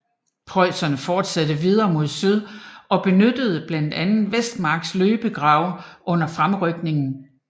Preusserne fortsatte videre mod syd og benyttede blandt andet Vestermarks løbegrave under fremrykningen